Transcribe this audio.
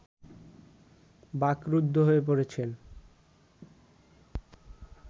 বাকরুদ্ধ হয়ে পড়েছেন